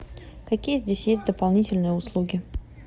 какие здесь есть дополнительные услуги